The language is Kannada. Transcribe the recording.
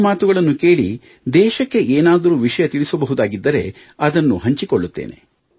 ನಿಮ್ಮ ಮಾತುಗಳನ್ನು ಕೇಳಿ ದೇಶಕ್ಕೆ ಏನಾದರೂ ವಿಷಯ ತಿಳಿಸಬಹುದಾಗಿದ್ದರೆ ಅದನ್ನು ಹಂಚಿಕೊಳ್ಳುತ್ತೇನೆ